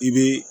I bɛ